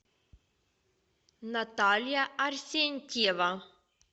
наталья арсентьева